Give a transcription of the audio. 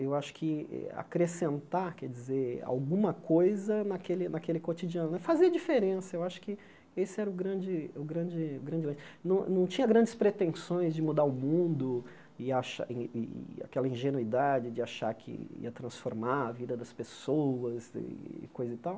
Eu acho que acrescentar, quer dizer, alguma coisa naquele naquele cotidiano né, fazer a diferença, eu acho que esse era o grande o grande o grande... Não tinha grandes pretensões de mudar o mundo e achar e e aquela ingenuidade de achar que ia transformar a vida das pessoas e coisa e tal.